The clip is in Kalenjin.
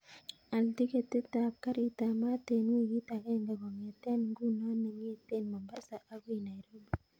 Al tiketit ap karit ap maat en wikit agenge kongeten ngunon nengeten mombasa akoi nairobi